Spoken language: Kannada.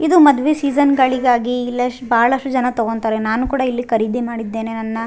ಇದು ಮದ್ವೆ ಸೀಸನ್ಗಳಿಗಾಗಿ ಇಲ್ಲೆಸ್ಟ್ ಬಹಳಷ್ಟು ಜನ ತಗೋಂತಾರೆ ನಾನು ಕೂಡ ಇಲ್ಲಿ ಕರೀದಿ ಮಾಡಿದ್ದೇನೆ ನನ್ನ --